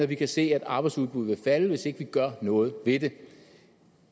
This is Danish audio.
vi kan se at arbejdsudbuddet falde hvis ikke vi gør noget ved det